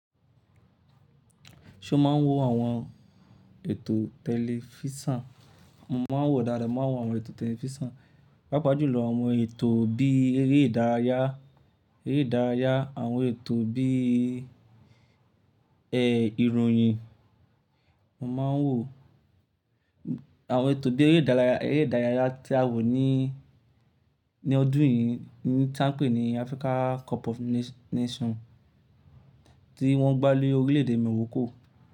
Ṣo ma ń wo àwọn ètò tẹlifísàn? Mo ma ń wò dáadáa, mo ma ń wo àwọn ètò tẹlifísàn, pàápàá jùlọ àwọn ètò bí eré ìdárayá, eré ìdárayá àwọn ètò bí ìròyìn. Mo ma ń wò àwọn ètò bí eré ìdárayá, eré ìdárayá tí a wò ní, ní ọdún yìí tí wọ́n ń pè ní Africa Cup of Nation tí wọ́n gbá lórílẹ̀èdè Morocco.